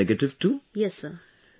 You have tested negative too...